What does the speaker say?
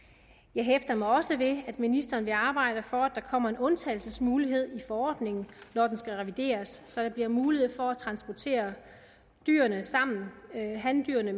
jeg hæfter mig også ved at ministeren vil arbejde for at der kommer en undtagelsesmulighed i forordningen når den skal revideres så der bliver mulighed for at transportere dyrene sammen handyrene